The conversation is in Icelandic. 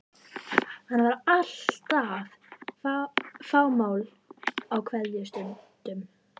Hann var alltaf fámáll á kveðjustundum.